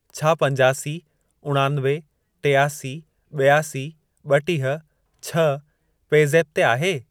छा पंजासी, उणानवे, टियासी, ॿियासी, ॿटीह, छह पे ज़ेप ते आहे?